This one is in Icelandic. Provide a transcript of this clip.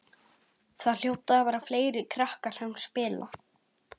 Það hljóta að vera fleiri krakkar sem spila.